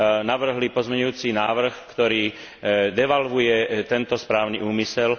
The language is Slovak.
navrhli pozmeňujúci návrh, ktorý devalvuje tento správny úmysel.